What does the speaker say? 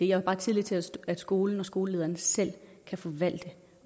har bare tillid til at at skolen og skolelederen selv kan forvalte